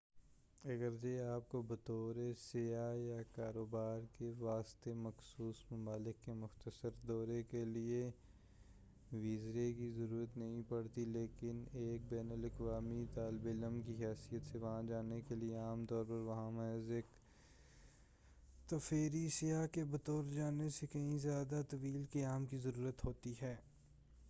اگرچہ آپ کو بطور سیاح یا کاروبار کے واسطے مخصوص ممالک کے مختصر دورے کے لئے ویزے کی ضرورت نہیں پڑتی لیکن ایک بین الاقوامی طالب علم کی حیثیت سے وہاں جانے کے لئے عام طور پر وہاں محض ایک تفریحی سیاح کے بطور جانے سے کہیں زیادہ طویل قیام کی ضرورت ہوتی ہے